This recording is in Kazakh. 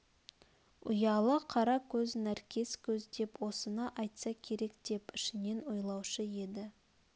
ұялы қара көз нәркес көз деп осыны айтса керек деп ішінен ойлаушы еді